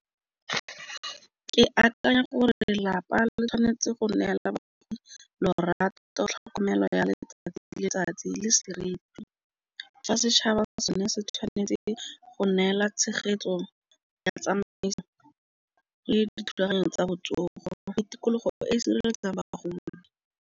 Ke akanya gore lelapa le tshwanetse go neela bagodi lorato tlhokomelo ya letsatsi le letsatsi le seriti. Fa setšhaba ke sone se tshwanetse go neela tshegetso ya tsamaiso le dithulaganyo tsa botsogo mofe tikologo e e sireletsang ba ba golo.